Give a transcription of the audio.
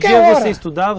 estudava?